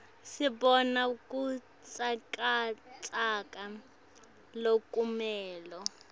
sibona butsakatsaka lokumele